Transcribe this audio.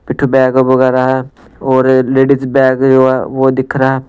पिठ बैग वगैरह है और लेडीज बैग जो है वह दिख रहा है।